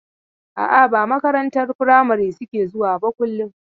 A'a, ba makarantar firamari suke zuwa ba kullum.